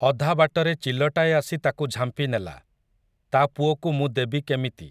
ଅଧାବାଟରେ ଚିଲଟାଏ ଆସି ତାକୁ ଝାମ୍ପିନେଲା, ତା ପୁଅକୁ ମୁଁ ଦେବି କେମିତି ।